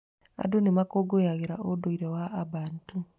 Andũ nĩ makũngũagĩra ũndũire wa a Bantu.